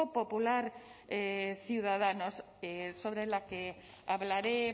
popular ciudadanos sobre la que hablaré